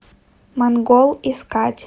монгол искать